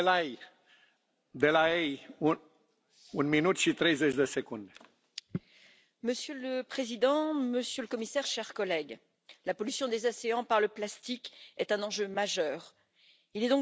Monsieur le Président, Monsieur le Commissaire, chers collègues, la pollution des océans par le plastique est un enjeu majeur, il est donc de notre devoir d'être ambitieux et je pense que l'accord trouvé entre les institutions est un bon accord.